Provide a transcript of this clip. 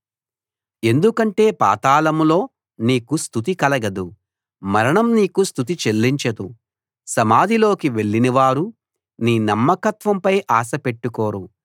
ఎందుకంటే పాతాళంలో నీకు స్తుతి కలగదు మరణం నీకు స్తుతి చెల్లించదు సమాధిలోకి వెళ్ళినవారు నీ నమ్మకత్వంపై ఆశ పెట్టుకోరు